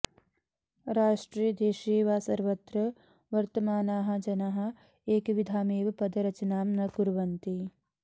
राष्ट्रे देशे वा सर्वत्र वर्तमानाः जनाः एकविधामेव पदरचनां न कुर्वन्ति